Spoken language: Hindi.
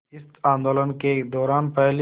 इस आंदोलन के दौरान पहली